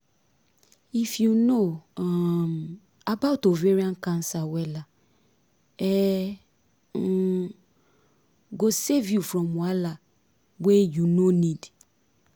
if you know um about ovarian cancer wella e um go save you from wahala wey you no need